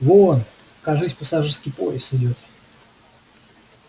вон кажись пассажирский поезд идёт